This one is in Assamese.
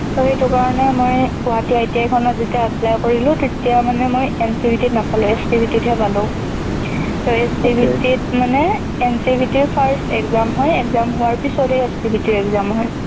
ত সেইটো কাৰনে মই গুৱাহাটী ITI খনত যেতিয়া apply কৰিলো তেতিয়া মানে মই NCVT নাপালো, SCVT ত হে পালো। ত SCVT ত মানে, NCVT first exam হয়। exam হোৱাৰ পিছত হে SCVTexam হয়।